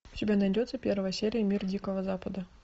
у тебя найдется первая серия мир дикого запада